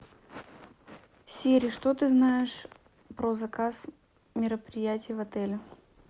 сири что ты знаешь про заказ мероприятий в отеле